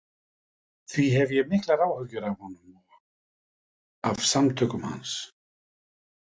Því hef ég miklar áhyggjur af honum og af samtökum hans.